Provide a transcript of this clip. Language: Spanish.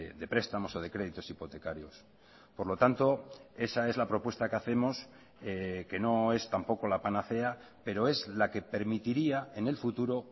de prestamos o de créditos hipotecarios por lo tanto esa es la propuesta que hacemos que no es tampoco la panacea pero es la que permitiría en el futuro